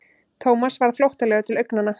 Thomas varð flóttalegur til augnanna.